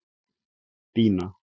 Bína